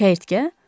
Çəyirtkə?